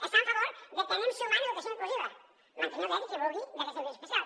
està a favor de que anem sumant educació inclusiva mantenint el dret de qui ho vulgui d’aquesta educació especial